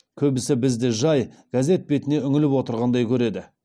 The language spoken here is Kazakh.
көбісі бізді жай газет бетіне үңіліп отырғандай көреді